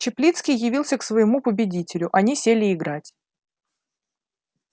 чаплицкий явился к своему победителю они сели играть